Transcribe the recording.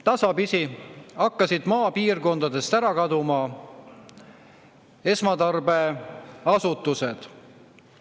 Tasapisi hakkasid maapiirkondadest ära kaduma esmatarbeasutused.